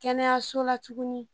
Kɛnɛyaso la tuguni